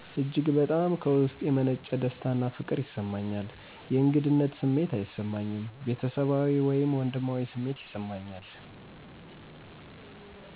እጅግ በጣም ከውስጥ የመነጨ ደስታና ፍቅር ይሰማኛል። የእንግድነት ስሜት አይሰማኝም፤ ቤተሰባዊ ወይም ወንድማዊ ስሜት ይሰማኛል።